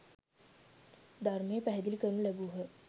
ධර්මය පැහැදිළි කරනු ලැබූහ.